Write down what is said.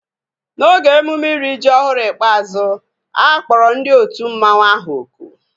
N'oge emume iri ji ọhụrụ ikpeazụ, a kpọrọ ndị otu mmanwu ahu oku